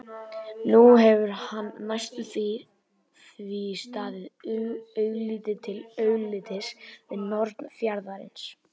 Nú hefur hann næstum því staðið augliti til auglitis við norn fjarðarins.